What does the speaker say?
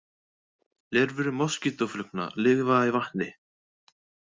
Lirfur moskítóflugna lifa í vatni.